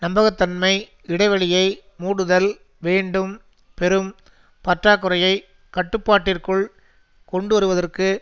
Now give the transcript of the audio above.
நம்பகத்தன்மை இடைவெளியை மூடுதல் வேண்டும் பெரும் பற்றாக்குறையை கட்டுப்பாட்டிற்குள் கொண்டுவருவதற்கு